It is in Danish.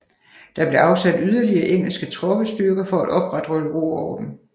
Der blev afsat yderligere engelske troppestyrker for at opretholde ro og orden